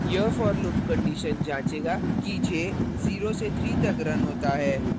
यह for loop condition जाँचेगा कि j 0 से 3 तक रन होता है